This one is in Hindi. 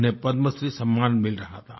उन्हें पद्मश्री सम्मान मिल रहा था